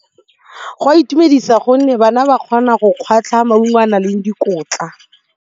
Go a itumedisa gonne bana ba kgona go kgwatlha maungo a na leng dikotla.